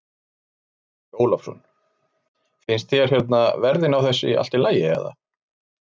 Andri Ólafsson: Finnst þér hérna verðin á þessu allt í lagi eða?